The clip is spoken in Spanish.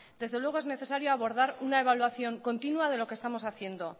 desde luego es necesario abordar una evaluación continua de lo que estamos haciendo